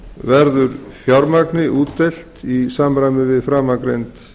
verður fjármagni útdeilt í samræmi við framangreind